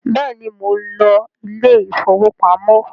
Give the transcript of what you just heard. béèni món ló Ilé ìfowópamọ́.